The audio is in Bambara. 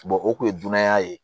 o kun ye danaya ye